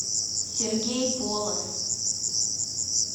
сергей полоз